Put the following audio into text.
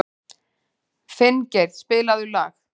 Finngeir, spilaðu lag.